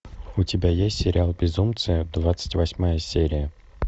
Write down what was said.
у тебя есть сериал безумцы двадцать восьмая серия